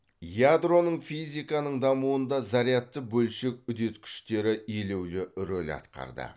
ядроның физиканың дамуында зарядты бөлшек үдеткіштері елеулі роль атқарды